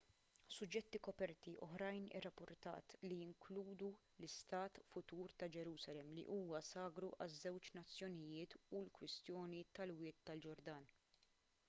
suġġetti koperti oħrajn irrappurtat li jinkludu l-istat futur ta' ġerusalemm li huwa sagru għaż-żewġ nazzjonijiet u l-kwistjoni tal-wied tal-ġordan